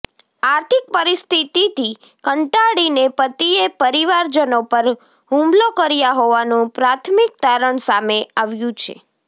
આર્થિક પરિસ્થિતિથી કંટાળીને પતિએ પરિવારજનો પર હુમલો કર્યા હોવાનું પ્રાથમિક તારણ સામે આવ્યુ છે